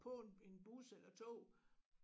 På en en bus eller tog